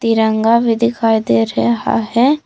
तिरंगा भी दिखाई दे रहा है।